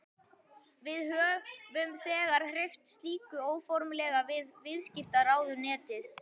Við höfum þegar hreyft slíku óformlega við viðskiptaráðuneytið.